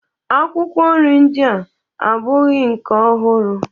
Akwụkwọ nri ndịa abụghọ nke ọhụrụ